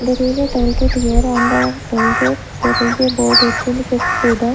there is a tollgate here on the tollgate there is a board to the--